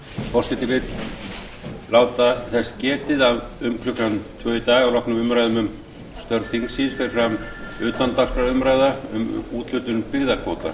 forseti vill láta þess getið að um klukkan tvö í dag að loknum umræðum um störf þingsins fer fram utandagskrárumræða um úthlutun byggðakvóta